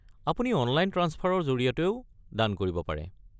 আপুনি অনলাইন ট্ৰাঞ্চফাৰৰ জৰিয়তেও দান কৰিব পাৰে।